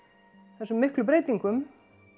þessum miklu breytingum